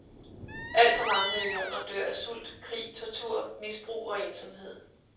Alt for mange millioner dør af sult, krig, tortur, misbrug, og ensomhed.